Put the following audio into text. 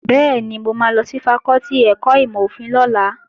Bẹ́ẹ̀ni, mo máa lọ sí fakọ́tì ẹ̀kọ́ ìmọ̀-òfin lọ́la